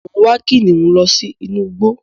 Mo ń wá kìnnìún lọ sí inú igbó